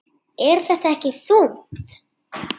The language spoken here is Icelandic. Er þetta ekki þungt?